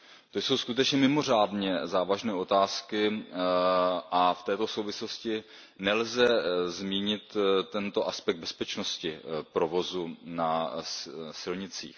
To jsou skutečně mimořádně závažné otázky a v této souvislosti nelze nezmínit aspekt bezpečnosti provozu na silnicích.